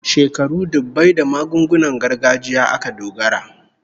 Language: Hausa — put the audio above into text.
Shekaru dubbai da magungunan gargajiya aka dogara